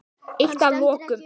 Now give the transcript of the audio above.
Eitt að lokum.